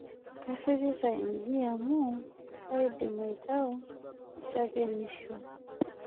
Kairirita iji amu kaidim iatau shakenisho